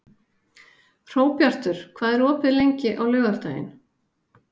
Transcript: Hróbjartur, hvað er opið lengi á laugardaginn?